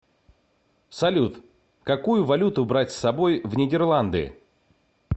салют какую валюту брать с собой в нидерланды